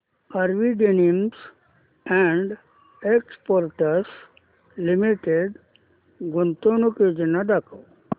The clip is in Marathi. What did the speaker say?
RV denims and exports limited गुंतवणूक योजना दाखव